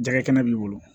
Jɛgɛ kɛnɛ b'i bolo